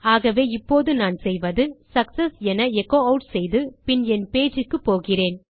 ஆகவே இப்போது நான் செய்வது சக்செஸ் என எச்சோ ஆட் செய்து பின் என் பேஜ் க்குப்போகிறேன்